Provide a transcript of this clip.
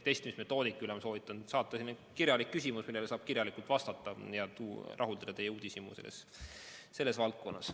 Testimismetoodika kohta ma soovitan saata kirjaliku küsimuse, millele saab kirjalikult vastata ja rahuldada teie uudishimu selles valdkonnas.